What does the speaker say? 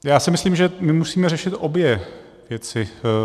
Já si myslím, že my musíme řešit obě věci.